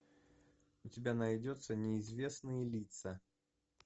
у тебя найдется неизвестные лица